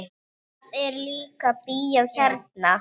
Það er líka bíó hérna.